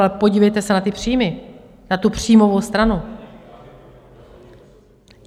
Ale podívejte se na ty příjmy, na tu příjmovou stranu.